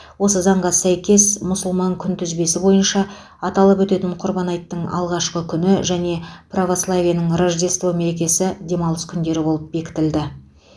осы заңға сәйкес мұсылман күнтізбесі бойынша аталып өтетін құрбан айттың алғашқы күні және православиенің рождество мерекесі демалыс күндері болып бекітілді